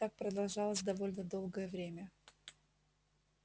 так продолжалось довольно долгое время